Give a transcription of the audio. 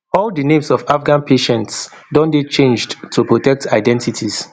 all di names of afghan patients don dey changed to protect identities